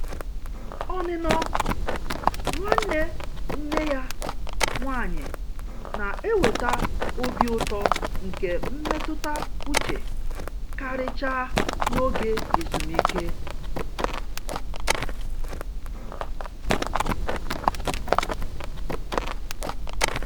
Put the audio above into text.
Ọnụnọ nwanne nne ya nwanyi na-eweta obi ụtọ nke mmetụta uche, karịchaa n'oge ezumike.